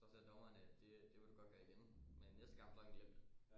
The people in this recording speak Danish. Så ser dommeren at det det vil du godt gøre igen men næste kamp så har han glemt det